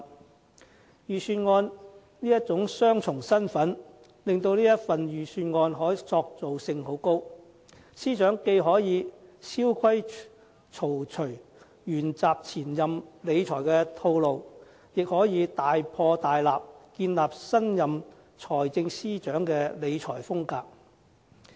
這份預算案的雙重身份，使它的可塑性甚高，司長既可以蕭規曹隨，沿襲前任司長的理財套路，亦可以大破大立，建立新任財政司司長的理財風格。